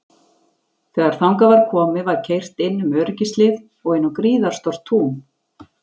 Þegar þangað var komið var keyrt inn um öryggishlið og inn á gríðarstórt tún.